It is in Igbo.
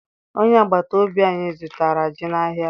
Onye agbata obi anyị zụtara ji n'ahịa.